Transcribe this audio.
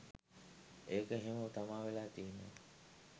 ඒක එහෙම තමා වෙලා තියෙන්නෙ.